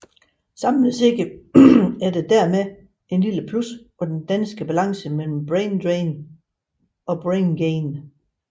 Samlet set er der dermed et lille plus på den danske balance mellem brain drain og brain gain